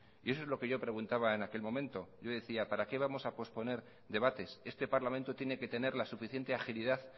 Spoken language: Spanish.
y eso es lo que yo preguntaba en aquel momento yo decía para qué vamos a posponer debates este parlamento tiene que tener la suficiente agilidad